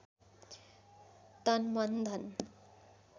तन मन धन